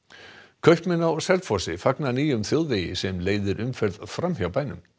kaupmenn á Selfossi fagna nýjum þjóðvegi sem leiðir umferð fram hjá bænum